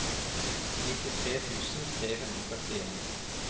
nittitre tusen tre hundre og førtien